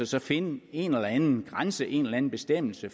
så finde en eller anden grænse en eller anden bestemmelse